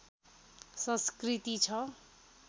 संस्‍कृति छ